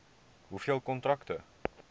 hoeveel kontrakte